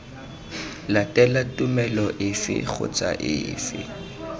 latela tumelo efe kgotsa efe